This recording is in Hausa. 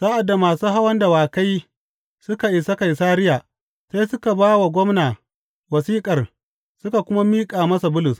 Sa’ad da masu hawan dawakai suka isa Kaisariya, sai suka ba wa gwamna wasiƙar suka kuma miƙa masa Bulus.